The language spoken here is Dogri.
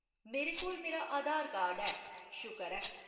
मेरे कोल मेरा आधार कार्ड है, शुकर ऐ।